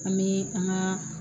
An bɛ an ka